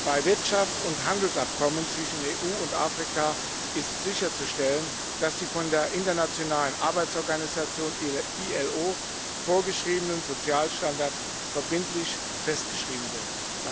Bei Wirtschafts und Handelsabkommen zwischen der EU und Afrika ist sicherzustellen, dass die von der Internationalen Arbeitsorganisation ILO vorgeschriebenen Sozialstandards verbindlich festgeschrieben werden.